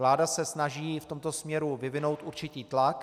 Vláda se snaží v tomto směru vyvinout určitý tlak.